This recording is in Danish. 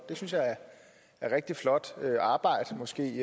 det synes jeg er rigtig flot arbejde måske